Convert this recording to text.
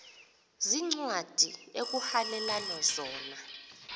veencwadi ekuhhalelwana zona